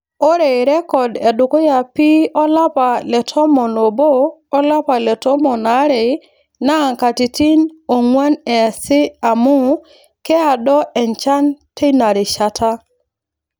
Ore rrekod edukuya pii olapa le tomon oobo o lapa le tomon aare naa nkatitin oong'wan eesi amuu keaado enchan teina rishata.